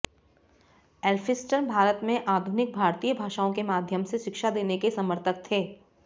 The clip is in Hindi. एल्फिंस्टन भारत में आधुनिक भारतीय भाषाओं के माध्यम से शिक्षा देने के समर्थक थे